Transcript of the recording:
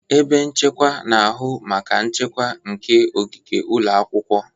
Ebe nchekwa na-ahụ maka nchekwa nke ogige ụlọ akwụkwọ.